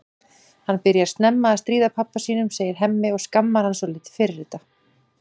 Hann byrjar snemma að stríða pabba sínum, segir Hemmi og skammar hann svolítið fyrir þetta.